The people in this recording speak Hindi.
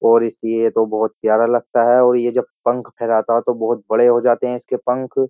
और इसलिए तो बोहोत प्यारा लगता है और ये जब पंख फैराता है तो बोहोत बड़े हो जाते हैं इसके पंख।